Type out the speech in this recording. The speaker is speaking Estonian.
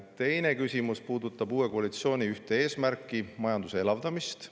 Teine küsimus puudutab uue koalitsiooni ühte eesmärki, majanduse elavdamist.